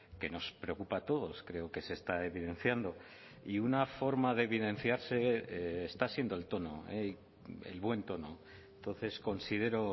que nos preocupa a todos creo que se está evidenciando y una forma de evidenciarse está siendo el tono el buen tono entonces considero